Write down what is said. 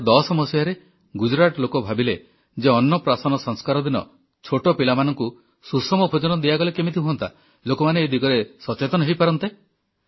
2010 ମସିହାରେ ଗୁଜରାଟ ଲୋକ ଭାବିଲେ ଯେ ଅନ୍ନପ୍ରାସନ୍ନ ସଂସ୍କାର ଦିନ ଛୋଟ ପିଲାମାନଙ୍କୁ ସୁଷମ ଭୋଜନ ଦିଆଗଲେ କେମିତି ହୁଅନ୍ତା ଲୋକମାନେ ଏ ଦିଗରେ ସଚେତନ ହୋଇପାରନ୍ତେ